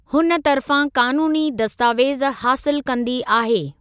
हुन तर्फ़ां कानूनी दस्तावेज़ हासिलु कंदी आहे।